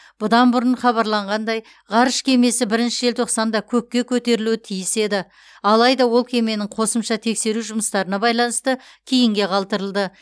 бұдан бұрын хабарланғандай ғарыш кемесі бірінші желтоқсанда көкке көтерілуі тиіс еді адайда ол кеменің қосымша тексеру жұмыстарына байланысты кейінге қалдырылды